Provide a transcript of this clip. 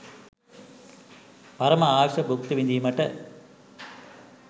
පරම ආයුෂ බුක්ති විඳීමට